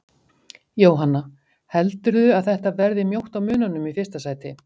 Jóhanna: Heldurðu að þetta verði mjótt á mununum í fyrsta sæti?